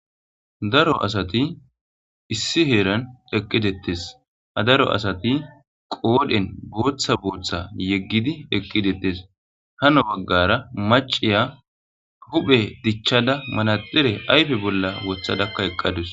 Daro asati issi heeran eqqi dettes. ha daro asati qoodhen booththa booththa yeggidi eqqi dettes. hano baggara maciya huphe dichchada manaxira ayfe bolla wothadakka eqqadus.